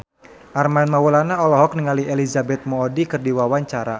Armand Maulana olohok ningali Elizabeth Moody keur diwawancara